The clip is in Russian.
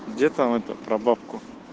где там это про бабку